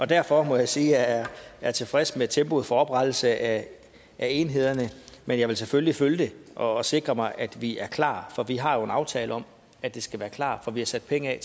derfor må jeg sige at jeg er tilfreds med tempoet for oprettelsen af enhederne men jeg vil selvfølgelig følge det og sikre mig at vi er klar for vi har jo en aftale om at de skal være klar for vi har sat penge